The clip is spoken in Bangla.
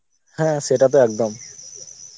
হ্যাঁ সেটা তো একদম